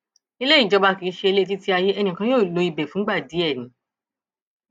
ilé ìjọba kì í ṣe ilétítíayé ẹnì kan yóò lo ibẹ fúngbà díẹ ni